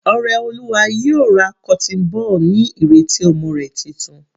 Oreoluwa yóò ra cotton ball ní ìrètí ọmọ rẹ̀ titun.